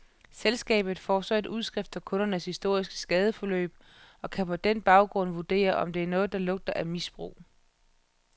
Selskabet får så et udskrift af kundens historiske skadesforløb og kan på den baggrund vurdere, om der er noget, der lugter af misbrug.